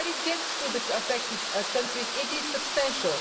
When help gets to the affected countries, it is substantial.